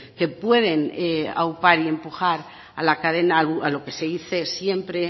que pueden aupar y empujar a la cadena a lo que se dice siempre